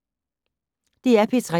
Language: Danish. DR P3